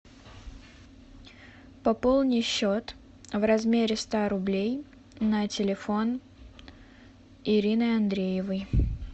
пополни счет в размере ста рублей на телефон ирины андреевой